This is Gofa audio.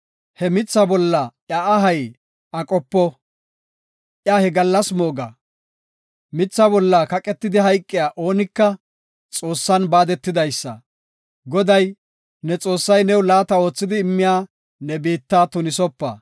he mithaa bolla iya ahay aqopo; iya he gallas mooga. Mitha bolla kaqetidi hayqiya oonika Xoossan baadetidaysa. Goday, ne Xoossay new laata oothidi immiya ne biitta tunisopa.